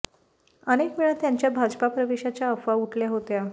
अनेक वेळा त्यांच्या भाजपा प्रवेशाच्या अफवा उठल्या होत्या